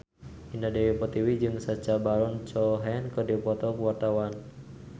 Indah Dewi Pertiwi jeung Sacha Baron Cohen keur dipoto ku wartawan